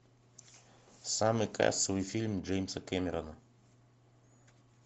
самый кассовый фильм джеймса кэмерона